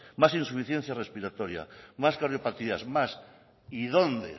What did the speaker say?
más insuficiencia respiratoria más cardiopatías más y dónde